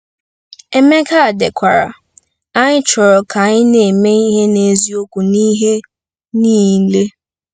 Emeka dekwara: " Anyị chọrọ ka anyị na-eme ihe n'eziokwu n'ihe niile."